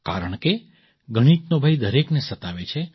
કારણકે ગણિતનો ભય દરેકને સતાવે છે